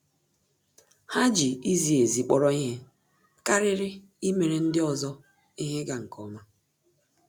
Há jì izi ezi kpọ́rọ́ ihe kàrị́rị́ íméré ndị ọzọ ihe ịga nke ọma.